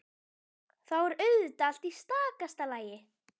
Þá er auðvitað allt í stakasta lagi!